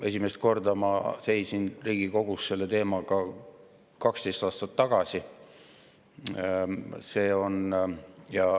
Esimest korda seisin ma Riigikogu ees selle teemaga 12 aastat tagasi.